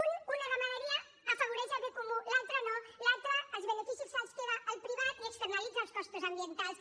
un una ramaderia afavoreix el bé comú l’altra no l’altra els beneficis se’ls queda el privat i externalitza els costos ambientals